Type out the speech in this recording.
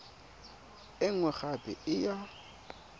e nngwe gape e ya